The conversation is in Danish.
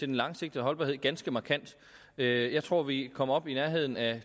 den langsigtede holdbarhed ganske markant jeg tror vi kommer op i nærheden af